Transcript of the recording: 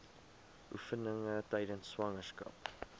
oefeninge tydens swangerskap